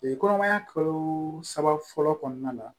kɔnɔmaya kalo saba fɔlɔ kɔnɔna na